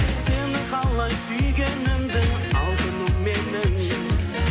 сені қалай сүйгенімді алтыным менің